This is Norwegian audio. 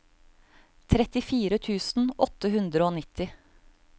trettifire tusen åtte hundre og nitti